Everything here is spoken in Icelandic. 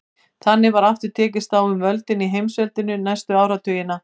Þannig var aftur tekist á um völdin í heimsveldinu næstu áratugina.